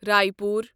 Raipur